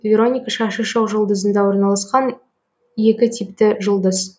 вероника шашы шоқжұлдызында орналасқан екі типті жұлдыз